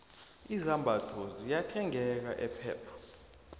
izambatho ziyathengeka epep